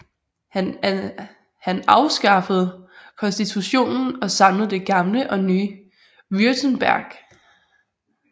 Han afskaffede konstitutionen og samlede det gamle og nye Württemberg